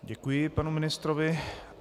Děkuji panu ministrovi.